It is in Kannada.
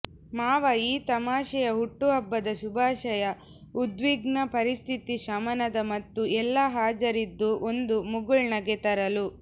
ಮಾವ ಈ ತಮಾಷೆಯ ಹುಟ್ಟುಹಬ್ಬದ ಶುಭಾಶಯ ಉದ್ವಿಗ್ನ ಪರಿಸ್ಥಿತಿ ಶಮನದ ಮತ್ತು ಎಲ್ಲಾ ಹಾಜರಿದ್ದು ಒಂದು ಮುಗುಳ್ನಗೆ ತರಲು